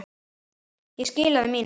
Ég skilaði mínu.